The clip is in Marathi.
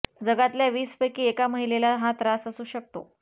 जगातल्या वीस पैकी एका महिलेला हा त्रास असू शकतो